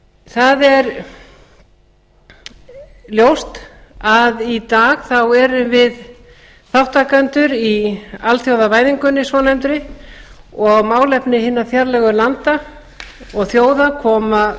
það er ljóst að í dag erum við þátttakendur í alþjóðavæðingunni svonefndu og málefni hinna fjarlægu landa og þjóða koma